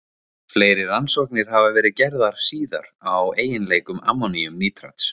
Fleiri rannsóknir hafa verið gerðar síðar á eiginleikum ammoníumnítrats.